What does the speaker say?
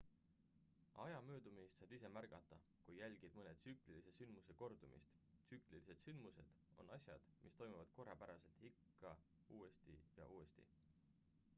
aja möödumist saad ise märgata kui jälgid mõne tsüklilise sündmuse kordumist tsüklilised sündmused on asjad mis toimuvad korrapäraselt ikka uuesti ja uuesti